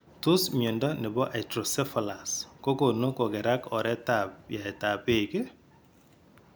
Tos mnyondo nebo hydrocephalus kogonu kogerak oret ab yaet ab beek iih ?